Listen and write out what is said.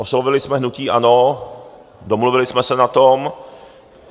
Oslovili jsme hnutí ANO, domluvili jsme se na tom.